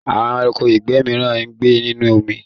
Àwọn ẹranko ìgbẹ́ mìíràn ń gbé nínú omi.